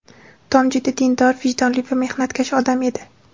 Tom juda dindor, vijdonli va mehnatkash odam edi.